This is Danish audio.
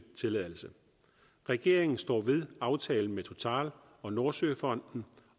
tilladelse regeringen står ved aftalen med total og nordsøfonden